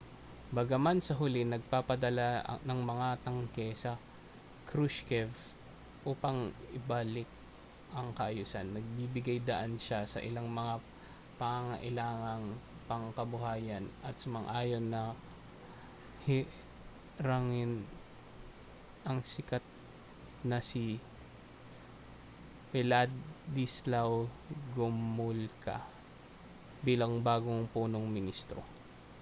bagaman sa huli nagpadala ng mga tanke si krushchev upang ibalik ang kaayusan nagbigay-daan siya sa ilang mga pangangailangang pangkabuhayan at sumang-ayon na hirangin ang sikat na si wladyslaw gomulka bilang bagong punong ministro